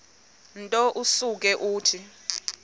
nto usuke uthi